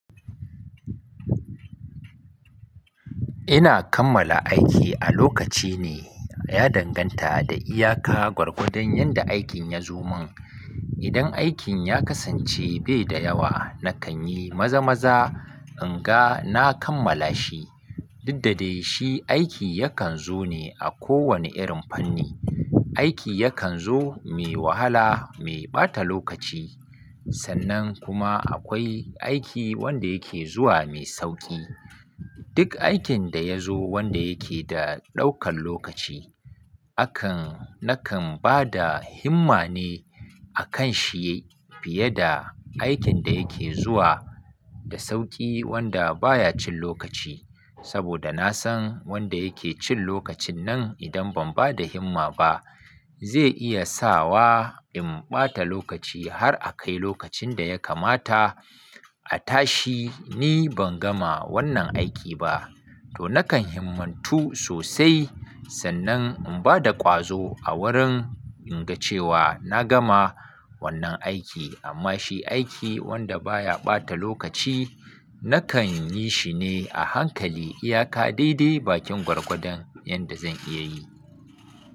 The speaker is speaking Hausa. Ina kammala aiki a lokaci ne, ya danganta da iyaka gwargwadon yanda aikin ya zo min. Idan aikin ya kasance bai da yawa, nakan yi maza-maza in ga na kammala shi. Didda dai shi aiki yakan zo ne, a kowane irin fanni. Aiki yakan zo mai wahala, mai ɓata lokaci. Sannan kuma akwai aiki wanda yake zuwa mai sauƙi. Duk aikin da ya zo wanda yake da ɗaukan lokaci, akan, nakan bada himma ne, a kan shi fiye da aikin da yake zuwa da sauƙi wanda baya cin lokaci. Saboda na san wanda yake cin lokacin nan, idan ban bada himma ba, zai iya sa wa in ɓata lokaci, har a kai lokacin da ya kamata a tashi, ni ban gama wannan aiki ba. To nakan himmatu sosai, sannan in bada ƙwazo a wurin, in ga cewa na gama wannan aiki. Amma shi aiki wanda baya ɓata lokaci, nakan yi shi ne a hankali, iyaka dai-dai bakin gwargwadon yanda zan iya yi.